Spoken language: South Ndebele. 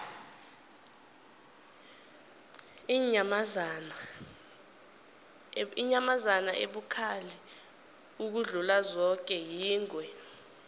inyamazana ebukhali ukudlula zoke yingwe